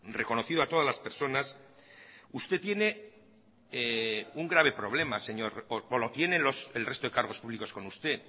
reconocido a todas las personas usted tiene un grave problema señor o lo tienen el resto de cargos públicos con usted